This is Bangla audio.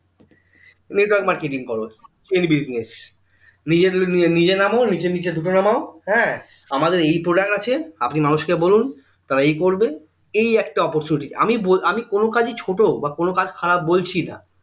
network marketing করো এর chain business নিজে নাম নিজের নিচে ঢুকে নামও এর আমাদের এই product আছে আপনি মানুষকে বলুন তারা এই করবে এই একটা opportunity আমি বলছি আমি কোনো কাজেই ছোট বা কোনো কাজ খারাব বলছিনা